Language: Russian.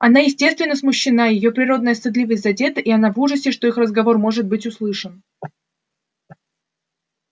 она естественно смущена её природная стыдливость задета и она в ужасе что их разговор может быть услышан